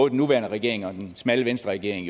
den nuværende regering og den smalle venstreregering